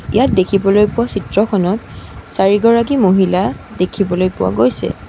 ইয়াত দেখিবলৈ পোৱা চিত্ৰখনত চাৰিগৰাকী মহিলা দেখিবলৈ পোৱা গৈছে।